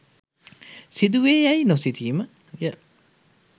සිදු වේ යැයි නොසිතීම ය.